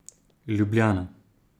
Ljubljana.